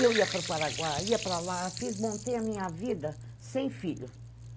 Eu ia para o Paraguai, ia para lá, fiz, montei a minha vida sem filho.